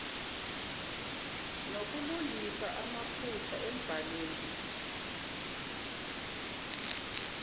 nokulungisa amaphutha embhalweni